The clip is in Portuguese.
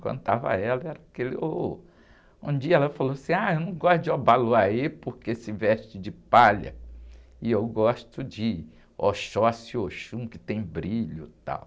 Quando estava ela, era aquele horror... Um dia ela falou assim, ah, eu não gosto de Obaloaiê porque se veste de palha e eu gosto de Oxóssi e Oxum, que tem brilho, tal.